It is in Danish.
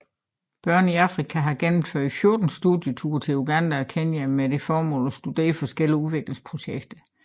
Børn i Afrika har gennemført 14 studieture til Uganda og Kenya med det formål at studere forskellige udviklingsprojekter